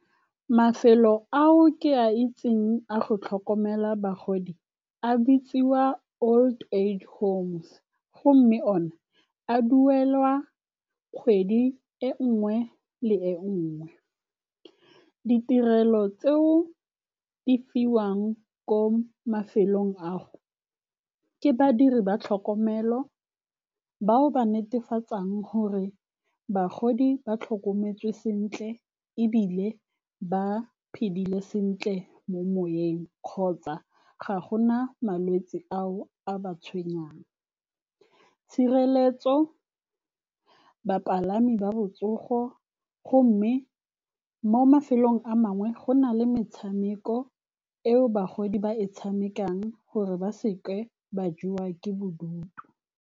Mafelo ao ke a itseng a go tlhokomela bagodi a bitsiwa old age homes. Go mme o ne a duelwa kgwedi e nngwe le e nngwe. Ditirelo tseo di fiwang ko mafelong ao ke badiri ba tlhokomelo, bao ba netefatsang gore bagodi ba tlhokometswe sentle ebile ba phedile sentle mo moeng, kgotsa ga gona malwetse ao a ba tshwenyang. Tshireletso, bapalami ba botsogo. Go mme, mo mafelong a mangwe go na le metshameko eo bagodi ba e tshamekang, gore ba seka ba jewa ke bodutu.